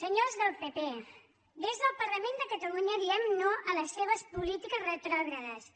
senyors del pp des del parlament de catalunya diem no a les seves polítiques retrògrades